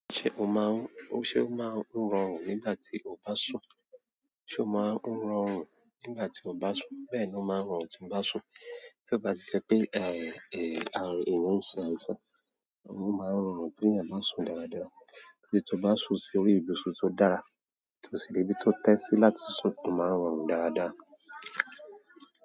Ṣe ọ máa ń rọrùn nígbà ti o bá sùn? Bẹ́ẹ̀ ni ó máa ń rọrùn tí ń bá sùn. Tí ó bá ti jẹ́ pé, eh, eh, ààrù èèyàn ń ṣe àìsàn, o máa ń rọrùn tí ènìyàn bá sùn dáradára. Bí tó bá sùn sí orí ibùsùn tó dára, tó sì ní ibi tó tẹ́ sí láti sùn, ó máa ń rọrùn dáradára.